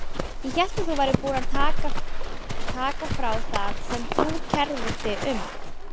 Ég hélt að þú værir búin að taka frá það sem þú kærðir þig um.